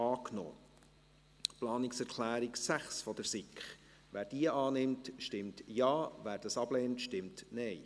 Wer die Planungserklärung 6 der SiK annehmen will, stimmt Ja, wer diese ablehnt, stimmt Nein.